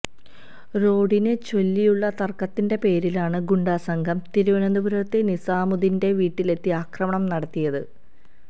റോഡിനെ ചൊല്ലിയുള്ള തര്ക്കത്തിന്റെ പേരിലാണ് ഗുണ്ടാസംഘം തിരുവനന്തപുരത്തെ നിസാമുദ്ദീന്റെ വീട്ടിലെത്തി ആക്രമണം നടത്തിയത്